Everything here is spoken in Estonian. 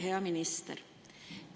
Hea minister!